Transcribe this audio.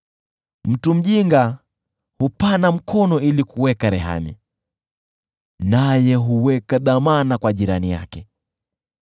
Mtu mjinga hupana mkono ili kuweka rehani, naye huweka dhamana kwa jirani yake.